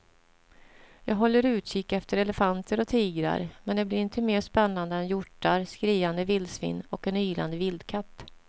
Jag håller utkik efter elefanter och tigrar men det blir inte mer spännande än hjortar, skriande vildsvin och en ylande vildkatt.